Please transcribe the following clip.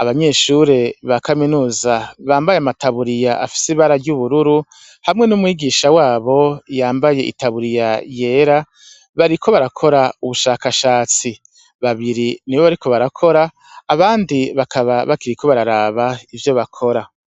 abanyeshure ba kaminuza bambaye amataburiya afise ibara ry'ubururu, hamwe n'umwigisha wabo yambaye itaburiya yera, bariko barakora ubushakashatsi, babiri nibo bariko barakora, abandi bakaba bakiriko bararaba ivyo bakora.